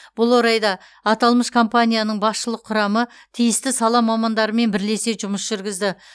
бұл орайда аталмыш компанияның басшылық құрамы тиісті сала мамандарымен бірлесе жұмыс жүргізді